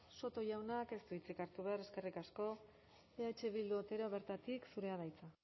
soto jaunak ez du hitzik hartu behar eskerrik asko eh bildu otero bertatik zurea da hitza